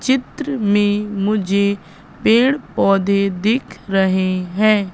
चित्र में मुझे पेड़ पौधे दिख रहे हैं।